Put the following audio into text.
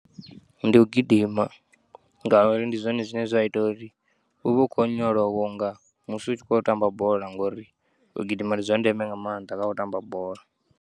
Ndi u gidima ngauri ndi zwone zwine zwa ita uri uvhe u khou onyolowa unga musi u tshi khu yo tamba bola ngauri u gidima ndi zwandeme nga maanḓa khau tamba bola.